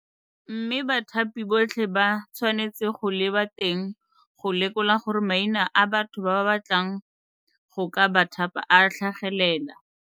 Mme bathapi botlhe ba tshwanetse go leba teng go lekola gore maina a batho ba ba batlang go ka ba thapa a tlhagelela.